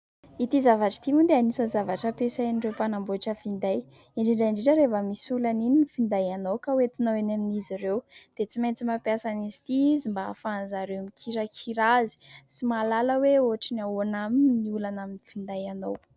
Ity zavatra ity moa dia anisan'ny zavatra ampiasain'ireo mpanambotra finday, indrindra indrindra rehefa misy olana iny ny finday anao ka ho entinao eny amin'izy ireo, dia tsy maintsy mampiasa azy ity izy mba hahafahan'izy ireo mikirakira azy sy mahalala hoe ohatra ny ahoana aminy ny olana amin'ny finday anao.